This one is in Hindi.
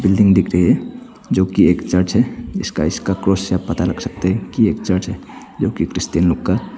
बिल्डिंग दिख रही है जो की एक चर्च है। इसका इसका आकार से पता लग सकता है कि यह एक चर्च है। जो की क्रिश्चियन लोग का --